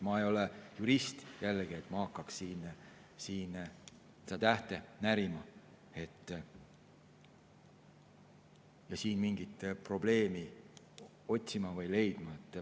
Ma ei ole jurist, jällegi, et ma saaksin hakata siin tähte närima ja mingit probleemi otsima või leidma.